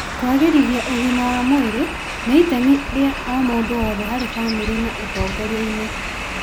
Kwagĩrithia ũgima wa mwĩrĩ nĩ itemi ria o mũndũ wothe harĩ bamĩrĩ na ũtongoria-inĩ.